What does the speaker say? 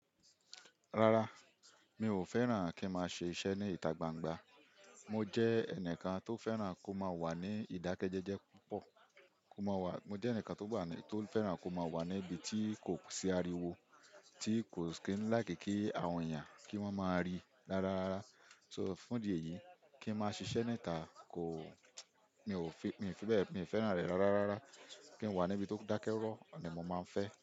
Rara, mi ò fẹ́ràn kí n máa ṣe iṣẹ́ ní ìta gbangba. Mo jẹ́ ẹnìkan tó fẹ́ràn kó máa wà ní ìdákẹ́ jẹ́jẹ́ púpọ̀, kó máa wà, mo jẹ́ ẹnìkan tó bà ní, tó fẹ́ràn kó máa wà ní ibi tí kò sí ariwo, tí kò sì kí n láì kí àwọn èèyàn kí wọ́n máa rí dáradára. So, fún ìdí èyí, kí n máa ṣiṣẹ́ ní ìta kò, mi ò fi, mi ò fi bẹ́ẹ̀, mi ò fẹ́ràn rẹ̀ rárarára. Kí n wà níbi tó dákẹ́ rọ̀ ni mo máa ń fẹ́.